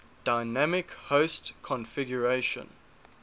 dynamic host configuration